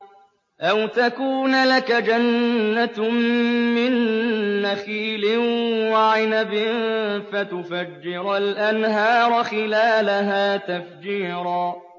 أَوْ تَكُونَ لَكَ جَنَّةٌ مِّن نَّخِيلٍ وَعِنَبٍ فَتُفَجِّرَ الْأَنْهَارَ خِلَالَهَا تَفْجِيرًا